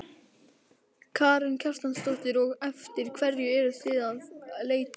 Karen Kjartansdóttir: Og eftir hverju eruð þið að leita hér?